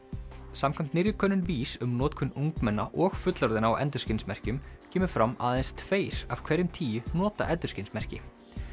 samkvæmt nýrri könnun VÍS um notkun ungmenna og fullorðinna á endurskinsmerkjum kemur fram að aðeins tveir af hverjum tíu nota endurskinsmerki